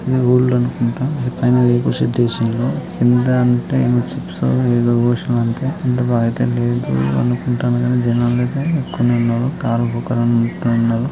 ఇది అనుకుంట. పైన రేకుల షెడ్డు ఏసి ఉన్న కింద టే చిప్సో ఏదో పోసిరంతే జనాలైతే ఎక్కువనే ఉన్నరు. కార్కొకరన్న ఉంటరు.